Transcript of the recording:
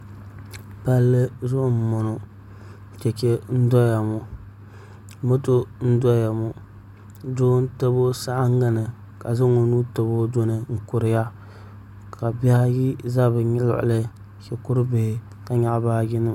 Palli zuɣu n boŋo chɛchɛ n doya ŋo moto n doya ŋo doo n tabi o saɣangi ni ka zaŋ o nuu tabi o duni n kuriya ka bihi ayi ʒɛ bi luɣuli shikuru bihi ka nyaɣa bi baaji nima